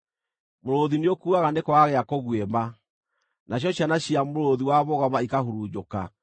Mũrũũthi nĩũkuaga nĩ kwaga gĩa kũguĩma, nacio ciana cia mũrũũthi wa mũgoma ikahurunjũka.